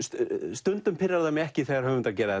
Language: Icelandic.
stundum pirrar það mig ekki þegar höfundar gera